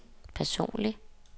personlig